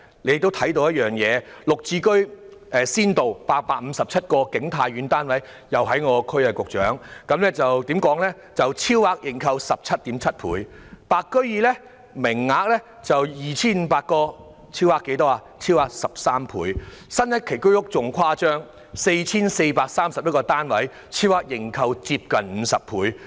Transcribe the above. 綠表置居先導計劃下的景泰苑剛好屬我的選區，該屋苑提供857個單位，超額認購 17.7 倍；"白居二"的名額有 2,500 個，超額認購13倍；新一期居屋更誇張 ，4,431 個單位竟然超額認購近50倍。